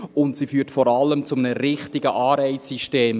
Und sie führt vor allem zu einem richtigen Anreizsystem.